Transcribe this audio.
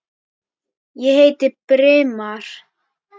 Ég heiti Brimar.